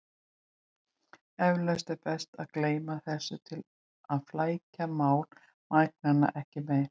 Eflaust er best að gleyma þessu til að flækja mál mæðgnanna ekki meira.